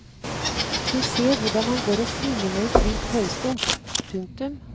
Hun ser hvordan han går og svinger med en svidd taustump. punktum